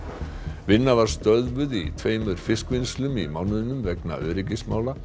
vinna var stöðvuð í tveimur fiskvinnslum í mánuðinum vegna öryggismála